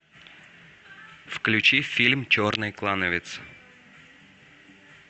включи фильм черный клановец